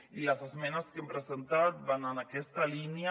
i les esmenes que hem presentat van en aquesta línia